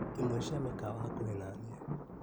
Imwe cia mĩkawa hakuhĩ naniĩ.